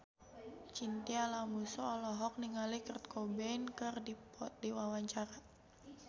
Chintya Lamusu olohok ningali Kurt Cobain keur diwawancara